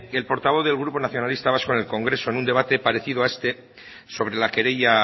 el portavoz del grupo nacionalista vasco en el congreso en un debate parecido a este sobre la querella